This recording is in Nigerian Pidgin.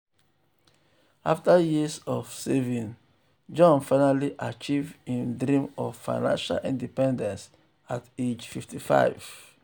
afta years of saving jon finally achieve him dream of financial independence at age 55.